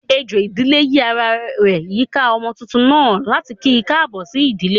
Ejò ìdílé yi ará rẹ yika ọmọ túntún naa, latí ki kaabo sí ìdílé.